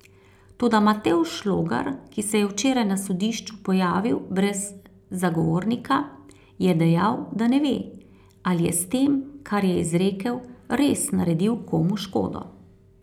Toda Matevž Logar, ki se je včeraj na sodišču pojavil brez zagovornika, je dejal, da ne ve, ali je s tem, kar je izrekel, res naredil komu škodo.